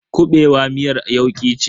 kuɓewa miyar yauki ce.